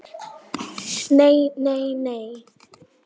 NEI, NEI, NEI.